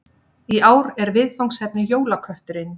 Í ár er viðfangsefnið Jólakötturinn